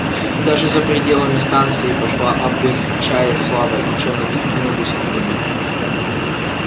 и даже за пределами станции пошла об их чае слава и челноки двинулись к ним